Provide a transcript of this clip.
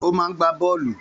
Ó má ń gbá Bọ́ọ́lù